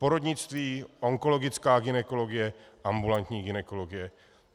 Porodnictví, onkologická gynekologie, ambulantní gynekologie.